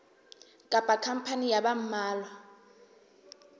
kapa khampani ya ba mmalwa